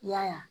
I y'a ye